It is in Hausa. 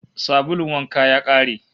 Sabulun wanka ya kare